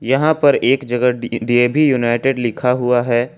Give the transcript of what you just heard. यहां पर एक जगह डी डी_ए_वी यूनाइटेड लिखा हुआ है।